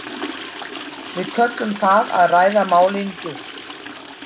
Við köllum það að ræða málin djúpt.